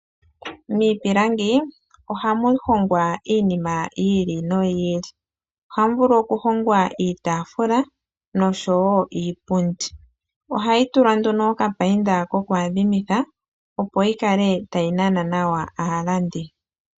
Miipilangi ohamu hongwa iinima yiili noyiili. Ohamu vulu oku hingwa iitaafula noshowo iipundi, ohayi tulwa nduno okapayinda koku adhimitha opo yikale tayi nana nawa aalandi .